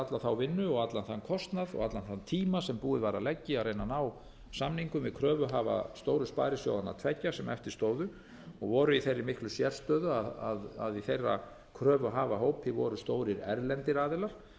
alla vinnuna og allan þann kostnað og allan þann tíma sem búið var að leggja í að reyna að ná samningum við kröfuhafa stóru sparisjóðanna tveggja sem eftirstóðu og voru í þeirri miklu sérstöðu að í þeirra kröfuhafahópi voru stórir erlendir aðilar öfugt við